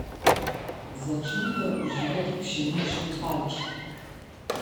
Začnite uživati pšenične kalčke.